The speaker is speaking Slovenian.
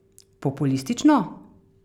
Populistično?